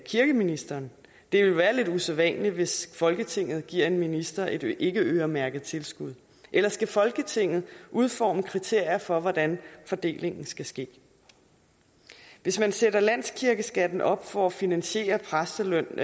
kirkeministeren det ville være lidt usædvanligt hvis folketinget giver en minister et ikkeøremærket tilskud eller skal folketinget udforme kriterier for hvordan fordelingen skal ske hvis man sætter landskirkeskatten op for at finansiere præstelønnen